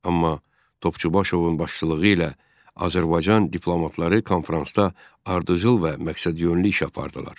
Amma Topçubaşovun başçılığı ilə Azərbaycan diplomatları konfransda ardıcıl və məqsədyönlü iş apardılar.